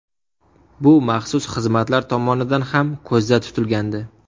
Bu maxsus xizmatlar tomonidan ham ko‘zda tutilgandi.